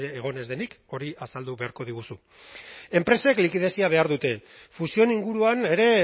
egon ez denik hori azaldu beharko diguzu enpresek likidezia behar dute fusioen inguruan ere